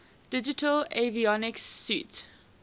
digital avionics suite